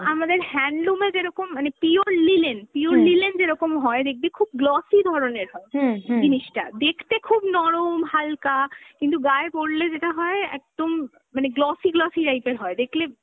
আমাদের handloom এ যেরকম মানে pure linen, pure linen যেরকম হয় দেখবি খুব glossy ধরনের হয় জিনিসটা, দেখতে খুব নরম ,হালকা কিন্ত গায়ে পরলে যেটা হয় একদম মানে glossy glossy type এর হয়, দেখলে